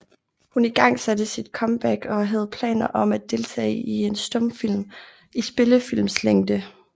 Hun igangsatte sit comeback og havde planer om at deltage i en stumfilm i spillefilmslængde